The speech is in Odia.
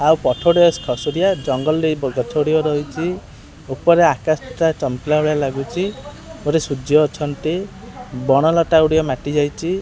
ଆଉ ଖସୁଥିବା ଜଙ୍ଗଲ ଦେଇ ବି ଗଛ ଗୁଡ଼ିକ ରହିଚି ଉପରେ ଆକାଶ ଟା ଚମକିଲା ଭଳିଆ ଲାଗୁଚି ଉପରେ ସୂର୍ଯ୍ୟ ଅଛନ୍ତି ବଣ ଲତା ଗୁଡିକ ମାଟି ଯାଇଚି।